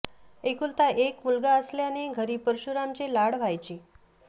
एकुलता एक मुलगा असल्याने घरी परशुरामचे लाड व्हायचे